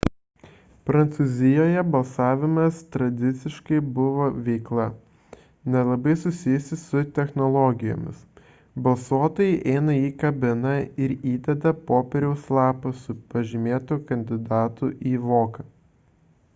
prancūzijoje balsavimas tradiciškai buvo veikla nelabai susijusi su technologijomis balsuotojai įeina į kabiną ir įdeda popieriaus lapą su pažymėtu kandidatu į voką